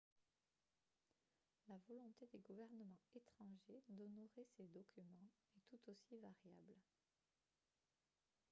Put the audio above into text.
la volonté des gouvernements étrangers d'honorer ces documents est tout aussi variable